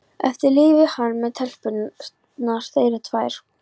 Eftir lifi hann með telpurnar þeirra tvær.